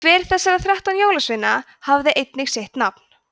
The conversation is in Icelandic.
hver þessara þrettán jólasveina hafði einnig sitt nafn